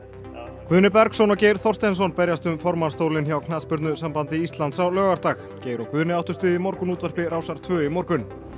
Guðni Bergsson og Geir Þorsteinsson berjast um formannsstólinn hjá Knattspyrnusambandi Íslands á laugardag Geir og Guðni áttust við í morgunútvarpi Rásar tvö í morgun